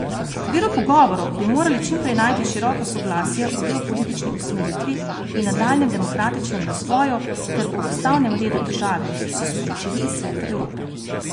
V okviru pogovorov bi morali čim prej najti široko soglasje o geopolitični usmeritvi in nadaljnjem demokratičnem razvoju ter o ustavnem redu države, so sporočili iz Sveta Evrope.